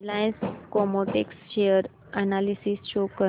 Reliance Chemotex share analysis show कर